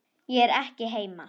Ég er ekki heima